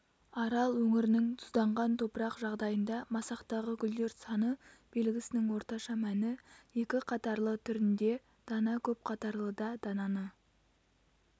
арал өңірінің тұзданған топырақ жағдайында масақтағы гүлдер саны белгісінің орташа мәні екі қатарлы түрінде дана көп қатарлыда дананы